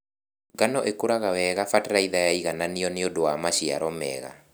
Ngano ĩkũraga wega bataraitha yaigananio nĩũndũ wa maciaro mega.